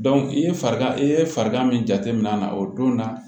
i ye farigan i ye farigan min jateminɛ na o don na